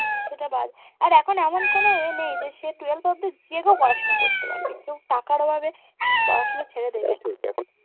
সেটা বাজে আর এখন এমন কোনো এ নেই যে সে twelve অব্দি যে কেও পড়াশোনা করতে পারবে কেউ টাকার অভাবে পড়াশোনা ছেড়ে দেবে